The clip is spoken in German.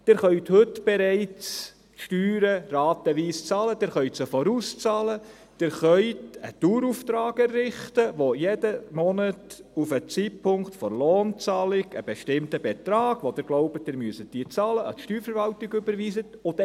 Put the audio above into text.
Sie können bereits heute die Steuern ratenweise bezahlen, Sie können sie vorauszahlen und Sie können einen Dauerauftrag einrichten, bei dem jeden Monat auf den Zeitpunkt der Lohnzahlung ein bestimmter Betrag, von dem Sie annehmen, dass Sie ihn bezahlen müssen, an die Steuerverwaltung überwiesen wird.